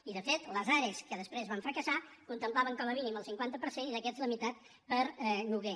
i de fet les are que després van fracassar en contemplaven com a mínim el cinquanta per cent i d’aquests la meitat per a lloguer